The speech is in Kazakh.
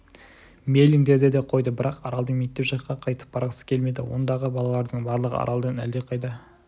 мейлің деді де қойды бірақ аралдың мектеп жаққа қайтып барғысы келмеді ондағы балалардың барлығы аралдан әлдеқайда